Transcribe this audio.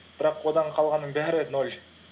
бірақ одан қалғанның бәрі ноль